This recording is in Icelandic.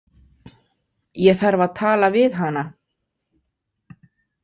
Ég þarf að tala við hana.